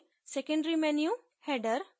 secondary menu header